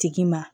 Tigi ma